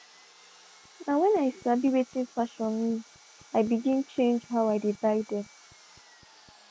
na when i sabi wating fashion meani begin change how i dey buy them.